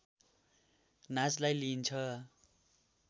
नाचलाई लिइन्छ